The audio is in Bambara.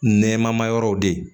Nɛma yɔrɔw de